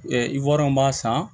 ivrnw b'a san